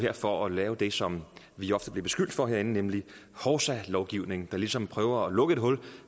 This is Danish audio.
for at lave det som vi ofte bliver beskyldt for herinde nemlig hovsalovgivning altså man ligesom prøver at lukke et hul